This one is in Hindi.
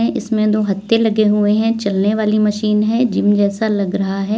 इसमें दो हत्थे लगे हुए हैं चलने वाली मशीन है जिम जैसा लग रहा है।